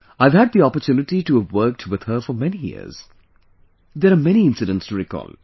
I have had the opportunity to have worked with her for many years, there are many incidents to recall